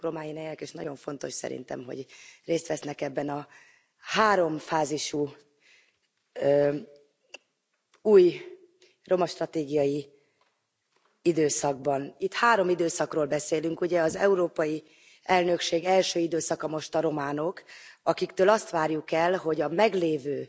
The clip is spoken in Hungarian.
Köszönjük Romániának, és nagyon fontos szerintem hogy részt vesznek ebben a háromfázisú új romastratégiai időszakban. Itt három időszakról beszélünk ugye, az európai elnökség első időszaka most a románok, akiktől azt várjuk el, hogy a meglévő